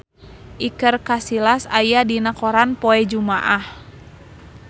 Iker Casillas aya dina koran poe Jumaah